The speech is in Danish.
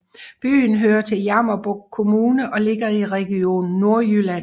Byen hører til Jammerbugt Kommune og ligger i Region Nordjylland